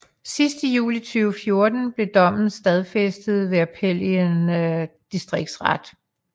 Sidst i juli 2014 blev dommen stadfæstet ved appel i en distriktsret